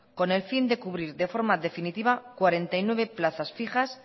con el fin de cubrir de forma definitiva cuarenta y nueve plazas fijas